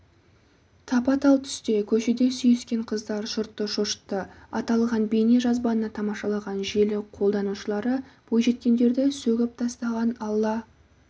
тапа-тал түсте көшеде сүйіскен қыздар жұртты шошытты аталған бейнежазбаны тамашалаған желі қолданушылары бойжеткендерді сөгіп тастаған алла